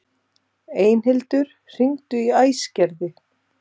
Einhildur, hringdu í Æsgerði.